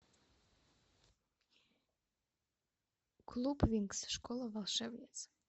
клуб винкс школа волшебниц